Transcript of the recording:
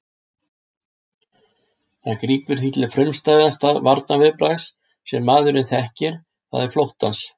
Það grípur því til frumstæðasta varnarviðbragðs sem maðurinn þekkir, það er flóttans.